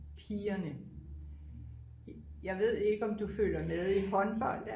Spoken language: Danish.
pigerne jeg ved ikke om du følger med i håndbold